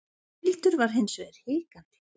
Hildur var hins vegar hikandi.